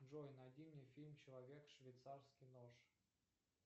джой найди мне фильм человек швейцарский нож